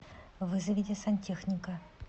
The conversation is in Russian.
вызовите сантехника